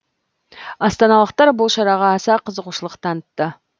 астаналықтар бұл шараға аса қызығушылық танытты